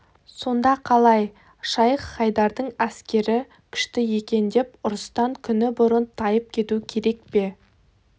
сонда қалай шайх-хайдардың әскері күшті екен деп ұрыстан күні бұрын тайып кету керек пе